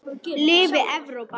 Lifi Evrópa.